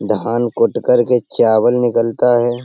धान कोट् करके चावल निकलता है।